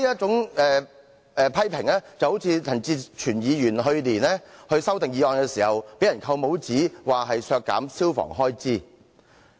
這些批評就像陳志全議員去年對條例草案提出修正案時被扣帽子一樣，被批評削減消防開支。